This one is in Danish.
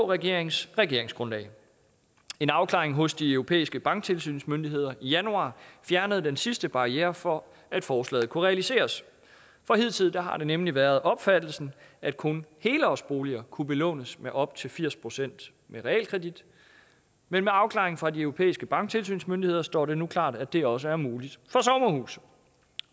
regeringens regeringsgrundlag en afklaring hos de europæiske banktilsynsmyndigheder i januar fjernede den sidste barriere for at forslaget kunne realiseres hidtil har det nemlig været opfattelsen at kun helårsboliger kunne belånes med op til firs procent med realkredit men med afklaringen fra de europæiske banktilsynsmyndigheder står det nu klart at det også er muligt